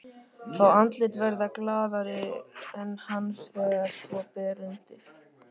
Fá andlit verða glaðari en hans þegar svo ber undir.